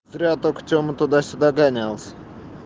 зря только тёма туда-сюда гонялся